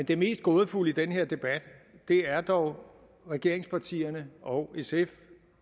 det mest gådefulde i den her debat er dog regeringspartierne og sf